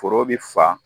Foro bɛ fa